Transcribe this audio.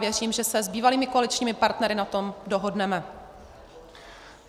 Věřím, že se s bývalými koaličními partnery na tom dohodneme.